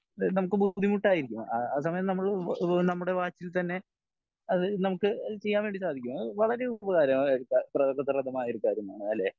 നമുക്ക് ബുദ്ധിമുട്ടായിരിക്കും ആ സമയം നമ്മൾ നമ്മുടെ വാച്ചിൽ തന്നെ അത് നമുക്ക് ചെയ്യാൻ വേണ്ടി സാധിക്കും വളരേ ഉപകാര പ്രദമായ ഒരു കാര്യം ആണ് അല്ലെ